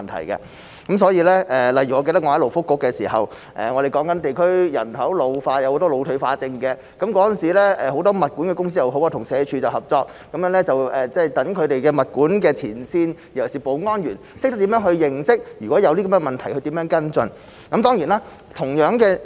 例如，我記得我在勞工及福利局的時候，我們討論地區人口老化，有很多腦退化症患者，當時很多物管公司與社會福利署合作，讓物管前線人員，尤其是保安員，懂得如果遇到這些問題，如何去跟進。